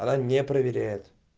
она не проверяет